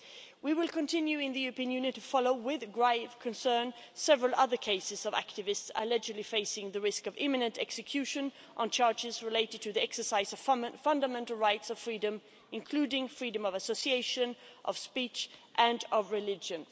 We will continue in the European Union to follow with grave concern several other cases of activists allegedly facing the risk of imminent execution on charges related to the exercise of fundamental rights and freedoms, including freedom of association, of speech and of religion.